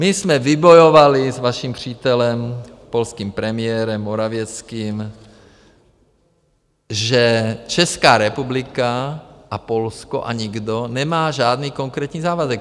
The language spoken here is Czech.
My jsme vybojovali s vaším přítelem, polským premiérem Morawieckým, že Česká republika a Polsko a nikdo nemá žádný konkrétní závazek.